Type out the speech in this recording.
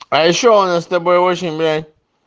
а ещё у нас с тобой очень блядь